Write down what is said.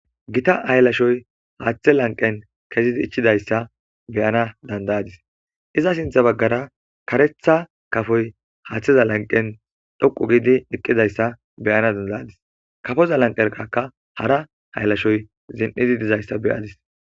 "Gita haylashoy haathe lanqqen kezidi ichchidaysa be'ana danda'adis iza sintha baggara kareththa kafoy haatheza lanqqen dhoqqu giidi eqqizaysa be'ana danda'ayis kafoza lanqqeraka hara haylashoy zin'idi dizaysa be'adis."